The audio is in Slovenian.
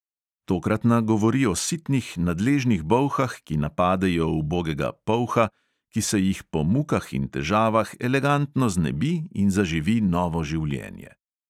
Tokratna govori o sitnih, nadležnih bolhah, ki napadejo ubogega polha, ki se jih po mukah in težavah elegantno znebi in zaživi novo življenje.